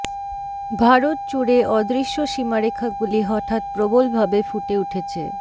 ভারত জুড়ে অদৃশ্য সীমারেখাগুলি হঠাৎ প্রবল ভাবে ফুটে উঠেছে